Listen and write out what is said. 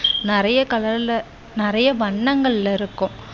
நிறைய color ல நிறைய வண்ணங்களில் இருக்கும்.